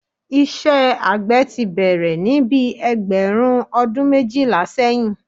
Iṣẹ́ àgbẹ̀ tí bẹ̀rẹ̀ ní bíi ẹgbẹ̀rún ọdún méjìlá sẹ́yìn